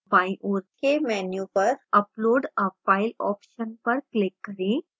बाईं ओर के menu पर upload a file option पर click करें